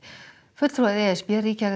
fulltrúar e s b ríkja